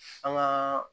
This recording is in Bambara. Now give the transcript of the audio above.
An ka